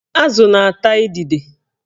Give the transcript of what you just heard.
Azụ na-ata idide